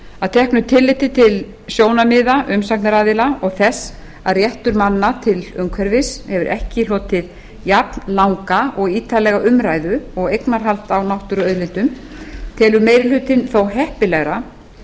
að teknu tilliti til sjónarmiða umsagnaraðila og þess að réttur manna til umhverfis hefur ekki hlotið jafnlanga og ítarlega umræðu og eignarhald á náttúruauðlindum telur meiri hlutinn þó heppilegra